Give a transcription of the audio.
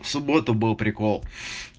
в субботу был прикол